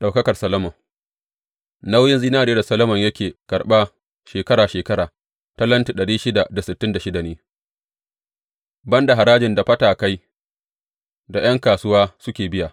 Ɗaukakar Solomon Nauyin zinariyar da Solomon yake karɓa shekara shekara talenti dari shida da sittin da shida ne, ban da harajin da fatakai da ’yan kasuwa suke biya.